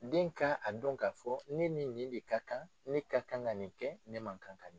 Den ka a don k'a fɔ ne ni nin de ka kan ne ka kan ka nin kɛ ne man kan ka